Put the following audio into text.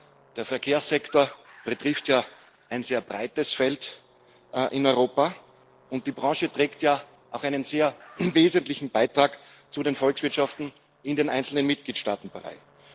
Ja, der Verkehrssektor betrifft ja ein sehr breites Feld in Europa, und die Branche trägt ja auch einen sehr wesentlichen Beitrag zu den Volkswirtschaften in den einzelnen Mitgliedstaaten bei.